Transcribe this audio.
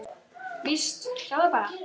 Víst, sjáðu bara!